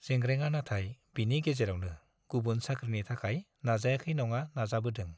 जेंग्रेंआ नाथाय बिनि गेजेरावनो गुबुन साख्रिनि थाखाय नाजायाखै नङा नाजाबोदों।